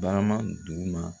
Baraman duguma